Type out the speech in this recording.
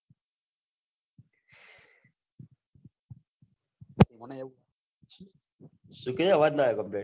શું કે અવાજ ના આય complete